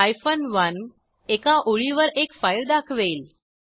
1 एका ओळीवर एक फाईल दाखवेल